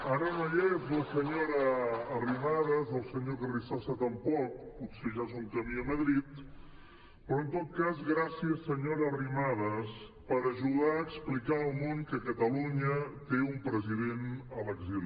ara no hi és la senyora arrimadas el senyor carrizosa tampoc potser ja són camí a madrid però en tot cas gràcies senyora arrimadas per ajudar a explicar al món que catalunya té un president a l’exili